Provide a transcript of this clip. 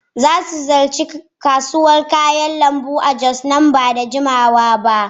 Za mu ziyarci kasuwar kayan lambu a jos nan ba da jimawa ba.